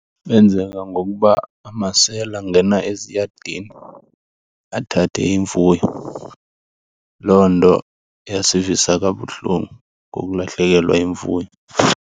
Benzeka ngokuba amasela angena eziyadini athathe imfuyo. Loo nto yasivisa kabuhlungu ngokulahlekelwa yimfuyo.